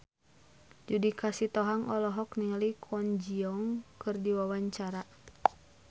Judika Sitohang olohok ningali Kwon Ji Yong keur diwawancara